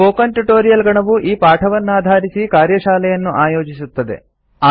spoken tutorial ಗಣವು ಈ ಪಾಠವನ್ನಾಧಾರಿಸಿ ಕಾರ್ಯಶಾಲೆಗಳನ್ನು ಆಯೋಜಿಸುತ್ತದೆ